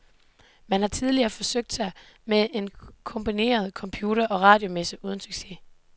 Man har tidligere forsøgt sig med en kombineret computer- og radiomesse uden succes.